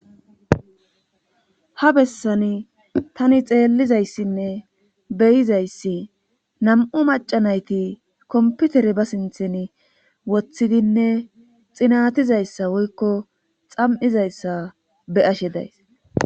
ha bessani tani xeellizayssinne beyizayssi nam7u macanayti komputere ba sinthen woththidinne xinatizayssa woykko xam7izayssa be ashe days